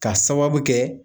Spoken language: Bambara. K'a sababu kɛ